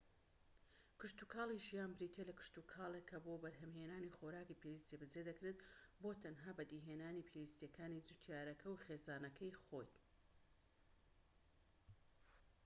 کشتوکاڵی ژیان بریتیە لە کشتوکاڵێک کە بۆ بەرھەمھێنانی خۆراکی پێویست جێبەجێ دەکرێت بۆ تەنها بەدیهێنانی پێویستیەکانی جووتیارەکە و خێزانەکەی خۆی